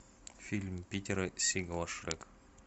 фильм питера сигала шрек